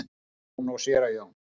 Jón og séra Jón.